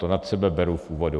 To na sebe beru v úvodu.